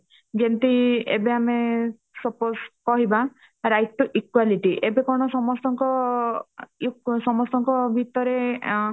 ଯେମିତି ଏବେ ଆମେ suppose କହିବା right to equality ଏବେ କଣ ସମସ୍ତଙ୍କ ସମସ୍ତଙ୍କ ଭିତରେ ଆଁ